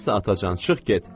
Sənsə, atacan, çıx get.